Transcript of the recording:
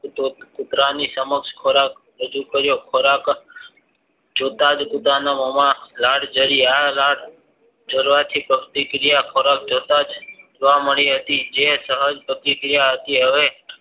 કૂતરાની સમક્ષ ખોરાક રજુ કર્યો ખોરાક જ કુતરાના મોમાં લાળ જારી આ લાળ ઝરવાથી પ્રતિક્રિયા તરત જોતા જ જોવા મળી હતી જે સહજ પ્રતિક્રિયા હતી હવે